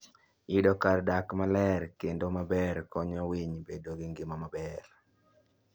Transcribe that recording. Yudo kar dak maler kendo maber konyo winy bedo gi ngima maber.